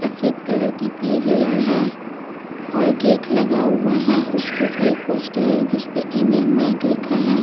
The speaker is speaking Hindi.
सफेद कलर की है और गेट लगा हुआ है। उसके ऊपर एक पोस्टर है जिसमें इंडियन बैंक लिखा है।